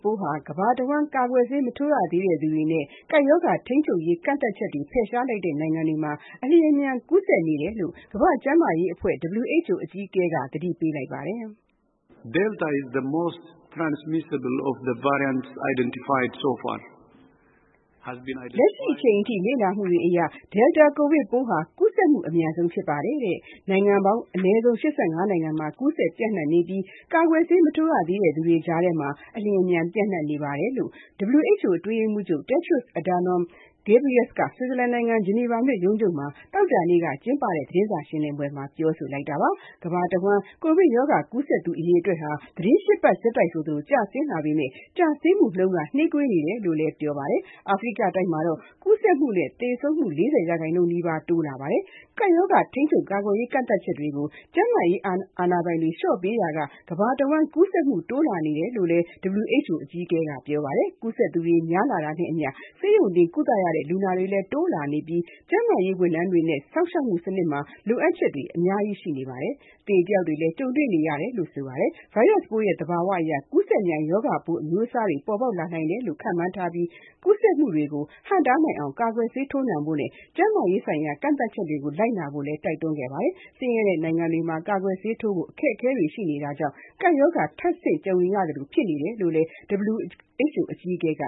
ပိုးဟာ ကမ္ဘာအဝန်း ကာကွယ်ဆေး မထိုးရသေးတဲ့သူတွေနဲ့ ကပ်ရောဂါ ထိန်းချုပ်ရေး ကန့်သတ်ချက်တွေ ဖယ်ရှားလိုက်တဲ့ နိုင်ငံတွေမှာ အလျှင်အမြန် ကူးစက်နေကြောင်း ကမ္ဘာ့ကျန်းမာရေးအဖွဲ့ (WHO) အကြီးအကဲက သတိပေးလိုက်ပါတယ်။ “လက်ရှိအချိန်အထိ လေ့လာမှုတွေအရ Delta ကိုဗစ်ပိုးဟာ ကူးစက်မှု အမြန်ဆုံးဖြစ်ပါတယ်။ နိုင်ငံပေါင်း အနည်းဆုံး ၈၅ နိုင်ငံမှာ ကူးစက်ပျံ့နှံ့နေပြီး၊ ကာကွယ်ဆေး မထိုးရသေးတဲ့ သူတွေကြားထဲမှာ အလျှင်အမြန် ပျံ့နှံ့နေပါတယ်။” လို့ WHO အတွင်းရေးမှူးချုပ် Tedros Adhanom Ghebreyesus က ဆွစ်ဇာလန်နိုင်ငံ ဂျနီဗာမြို့ ရုံးချုပ်က သောကြာနေ့ သတင်းစာရှင်းလင်းပွဲမှာ ပြောလိုက်တာပါ။ ကမ္ဘာအဝန်း ကိုဗစ်ရောဂါ ကူးစက်သူ အရေအတွက်ဟာ သီတင်း ၈ ပတ် ဆက်တိုက် ကျဆင်းလာပေမဲ့ ကျဆင်းမှုနှုန်းက နှေးကွေးနေတယ်လို့လည်း ပြောပါတယ်။ အာဖရိကတိုက်မှာတော့ ကူးစက်မှုနဲ့ သေဆုံးမှု ၄၀ ရာခိုင်နှုန်းနီးပါး တိုးလာနေတာပါ။ ကပ်ရောဂါ ထိန်းချုပ်ရေး ကန့်သတ်ချက်တွေကို ကျန်းမာရေး အာဏာပိုင်တွေ လျှော့ပေးရာက ကမ္ဘာအဝန်း ကူးစက်မှု တိုးလာနေတယ်လို့လည်း WHO အကြီးအကဲက ပြောပါတယ်။ ကူးစက်သူ များလာတာနဲ့အမျှ ဆေးရုံတင်ကုသရတဲ့ လူနာတွေလည်း တိုးလာနေပြီး၊ ကျန်းမာရေး ဝန်ထမ်းတွေနဲ့ စောင့်ရှောက်မှု စနစ်မှာ လိုအပ်ချက်တွေ ကြီးမားလာနေပြီး အသေအပျောက်တွေ ကြုံနေရတယ်လို့လည်း ပြောပါတယ်။ ဗိုင်းရပ်စ်ပိုးရဲ့ သဘာဝအရ ကူးစက်မြန် ရောဂါပိုး အမျိုးအစားသစ်တွေ ပေါ်ပေါက်လာနိုင်တယ်လို့ ခန့်မှန်းထားပြီး၊ ကူးစက်မှုတွေကို ဟန့်တားနိုင်အောင် ကာကွယ်ဆေး ထိုးနှံဖို့နဲ့ ကျန်းမာရေးဆိုင်ရာ ကန့်သတ်ချက်တွေကို လိုက်နာဖို့လည်း တိုက်တွန်းခဲ့တာပါ။ ဆင်းရဲတဲ့ နိုင်ငံတွေမှာ ကာကွယ်ဆေးထိုးဖို့ အခက်အခဲတွေ ရှိနေတာဟာလည်း ကပ်ရောဂါ ထပ်ဆင့်ကြုံရသလို ဖြစ်နေတယ်လို့လည်း WHO အကြီးအကဲက